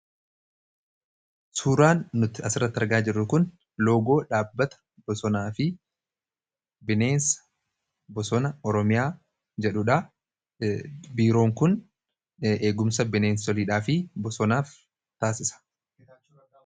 Suuraan nuti asirratti argaa jirru kun loogoo dhaabbata bosonaa fi bineensa bosonaa oromiyaa jedhudha. Biiroon kun eegumsa bineensotaa fi bosonaaf taasisa.